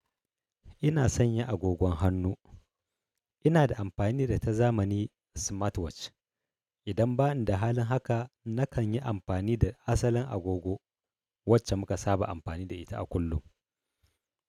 Ina sanya agogon hannu. Ina da amfani da ta zamani smartwatch. Idan bani da halin haka, nakan yi amfani da asalin agogo wacce muka saba amfani da ita a kullum.